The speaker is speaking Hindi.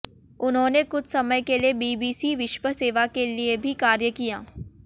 उन्होंने कुछ समय के लिए बीबीसी विश्व सेवा के लिए भी कार्य किया